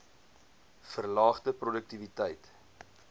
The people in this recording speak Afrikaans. verlaagde p roduktiwiteit